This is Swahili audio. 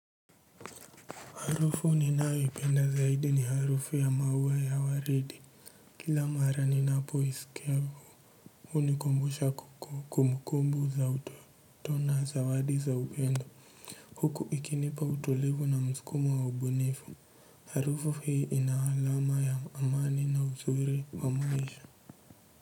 Harufu ninayoipenda zaidi ni harufu ya maua ya waridi. Kila mara ninapo isikia hunikumbusha kukumkumbu za utoto na zawadi za upendo, huku ikinipa utulivu na msukumo wa ubunifu. Harufu hii ina alama ya amani na uzuri wa mwisho.